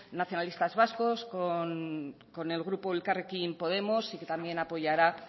nacionalistas vascos con el grupo elkarrekin podemos y que también apoyará